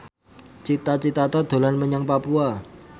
Cita Citata dolan menyang Papua